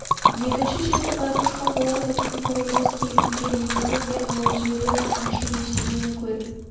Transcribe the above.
екінші шеті байқошқар болады күн құр емес кей күндер екіні де алып жібереді аңшы ештеңені көріп